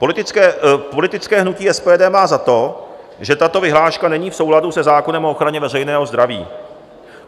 Politické hnutí SPD má za to, že tato vyhláška není v souladu se zákonem o ochraně veřejného zdraví.